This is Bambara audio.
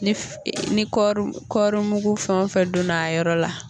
Nif, ni kɔɔri kɔɔrimugu fɛn o fɛn donna a yɔrɔ la.